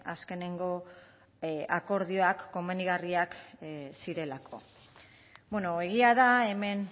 azkeneko akordioak komenigarriak zirelako egia da hemen